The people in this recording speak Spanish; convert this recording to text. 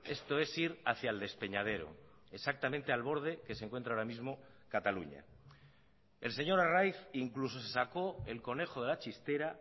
esto es ir hacia el despeñadero exactamente al borde que se encuentra ahora mismo cataluña el señor arraiz incluso se sacó el conejo de la chistera